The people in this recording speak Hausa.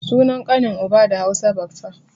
Sunan ƙanin uba da Hausa baffa